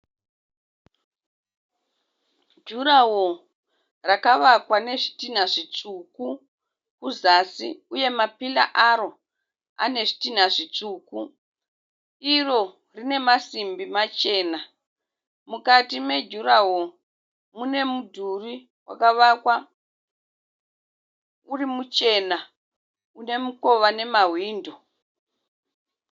Jurawo rakavakwa nezvidhina zvitsvuku kuzasi, uye mapira aro ane zvidhina zvitsvuku, iro rine masimbi machena, mukati mejurawoo mune mudhuri wakavakwa uri muchena une mukova nemahwindo.